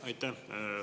Aitäh!